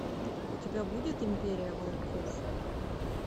у тебя будет империя волков